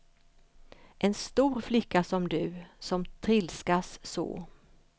En stor flicka som du, som trilskas så.